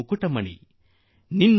ನಿನ್ನಾಟದ ಪ್ರಾಣ ನೀನು